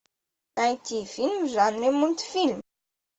найти фильм в жанре мультфильм